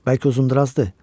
Bəlkə Uzundurazdır.